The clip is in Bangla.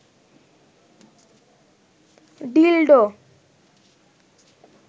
ডিলডো